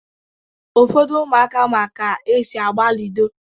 Ụfọdụ ụmụaka ma ka-esi agba ludo